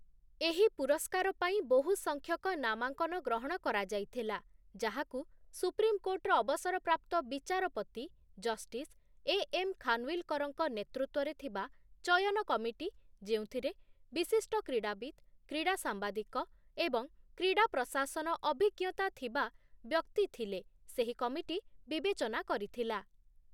ଏହି ପୁରସ୍କାର ପାଇଁ ବହୁ ସଂଖ୍ୟକ ନାମାଙ୍କନ ଗ୍ରହଣ କରାଯାଇଥିଲା, ଯାହାକୁ ସୁପ୍ରିମ୍ କୋର୍ଟର ଅବସରପ୍ରାପ୍ତ ବିଚାରପତି ଜଷ୍ଟିସ୍ ଏ ଏମ୍ ଖାନୱିଲକରଙ୍କ ନେତୃତ୍ୱରେ ଥିବା ଚୟନ କମିଟି ଯେଉଁଥିରେ ବିଶିଷ୍ଟ କ୍ରୀଡ଼ାବିତ, କ୍ରୀଡ଼ା ସାମ୍ବାଦିକ ଏବଂ କ୍ରୀଡ଼ା ପ୍ରଶାସନ ଅଭିଜ୍ଞତା ଥିବା ବ୍ୟକ୍ତି ଥିଲେ ସେହି କମିଟି ବିବେଚନା କରିଥିଲା ।